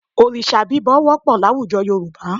Òrìṣà bíbọ wọ́pọ̀ láwùjọ Yorùbá